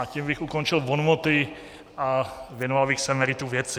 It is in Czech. A tím bych ukončil bonmoty a věnoval bych se meritu věci.